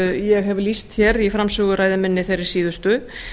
ég hef lýst hér í framsöguræðu minni þeirri síðustu